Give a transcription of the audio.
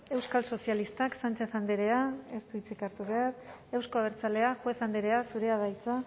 euskal sozialistak sánchez andreak ez du hitzik hartuko euzko abertzaleak juez andrea zurea da hitza